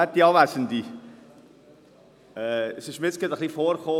Es kam mir jetzt gerade ein bisschen vor wie: